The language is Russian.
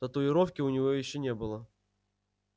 татуировки у него ещё не было